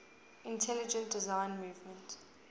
intelligent design movement